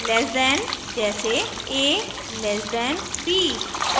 lace than से कम जैसे a< b